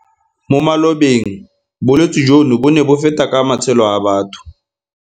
Mo malobeng bolwetse jono bo ne bo feta ka matshelo a batho.